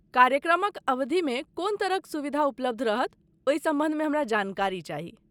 कार्यक्रमक अवधि में कोन तरहक सुविधा उपलब्ध रहत ओहि सम्बन्ध मे हमरा जानकारी चाही।